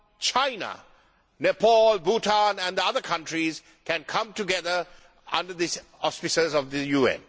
China, Nepal, Bhutan and other countries can come together under the auspices of the UN.